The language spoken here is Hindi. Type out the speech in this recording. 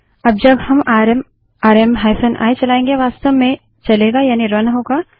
अब जब हम आरएम आरएम i चलायेंगे वास्तव में चलेगा यानि रन होगा